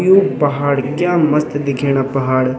यु पहाड़ क्या मस्त दिखेणा पहाड़।